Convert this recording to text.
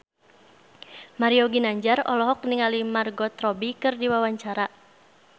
Mario Ginanjar olohok ningali Margot Robbie keur diwawancara